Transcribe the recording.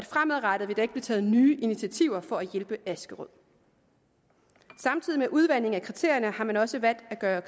fremadrettet ikke vil blive taget nye initiativer for at hjælpe askerød samtidig med udvandingen af kriterierne har man også valgt at gøre